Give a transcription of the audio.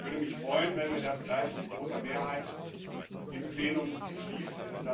Es würde mich freuen, wenn wir das gleich mit großer Mehrheit im Plenum beschließen.